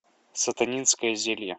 сатанинское зелье